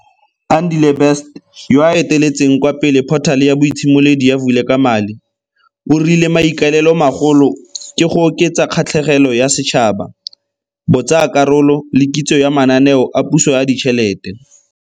Andile Best, yoo a eteletseng kwa pele phothale ya boitshimoledi ya Vulekamali, o rile maikaelelomagolo ke go oketsa kgatlhegelo ya setšhaba, botsaakarolo le kitso ya mananeo a puso a ditšhelete.